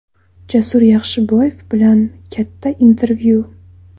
Jasur Yaxshiboyev bilan katta intervyu.